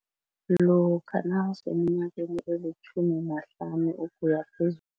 Lokha nawuseminyakeni elitjhumi nahlanu